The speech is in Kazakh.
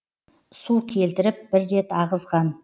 су келтіріп бір рет ағызған